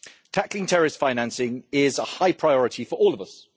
Tackling terrorist financing is a high priority for all of us.